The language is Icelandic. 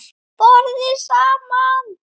BORÐIÐ SAMAN